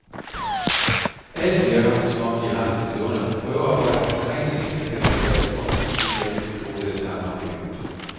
Alle virker, som om de har haft et vidunderligt prøvearbejde, og rent scenisk er det da heller ikke småting, de klassisk skolede sangere bliver budt.